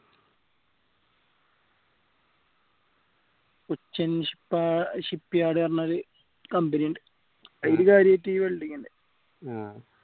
Cochin ship shipyard പറഞ്ഞൊരു company ഇൻഡ് അയിൽ കാര്യായിട്ട് ഈ welding